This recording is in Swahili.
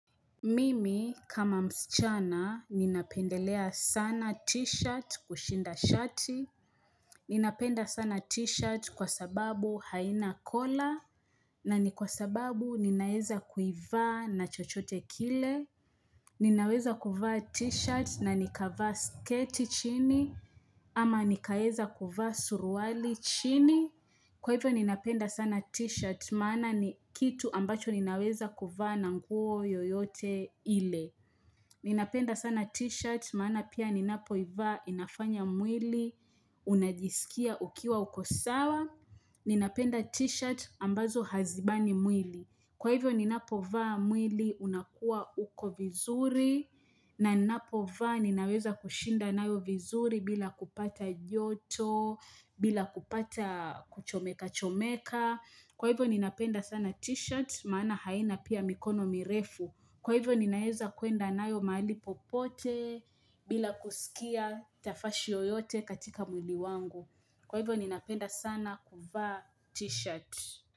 Mimi kama msichana ninapendelea sana t-shirt kushinda shati Ninapenda sana t-shirt kwa sababu haina kola na ni kwa sababu ninaeza kuivaa na chochote kile Ninaweza kuivaa t-shirt na nikavaa sketi chini ama nikaeza kuivaa suruali chini Kwa hivyo ninapenda sana t-shirt maana ni kitu ambacho ninaweza kuivaa na nguo yoyote ile Mimi kama msichana ninapendelea sana t-shirt kushinda shati Ninapenda t-shirt ambazo hazibani mwili. Kwa hivyo ninapo vaa mwili unakuwa uko vizuri na ninapo vaa ninaweza kushinda nayo vizuri bila kupata joto, bila kupata kuchomeka chomeka. Kwa hivyo ni napenda sana t-shirt maana haina pia mikono mirefu. Kwa hivyo ni naeza kuenda nayo mahali popote bila kusikia tafashi yoyote katika mwili wangu. Kwa hivyo ni napenda sana kuva t-shirt.